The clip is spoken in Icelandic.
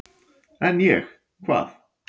"""En ég, hvað?"""